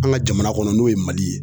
An ka jamana kɔnɔ n'o ye Mali ye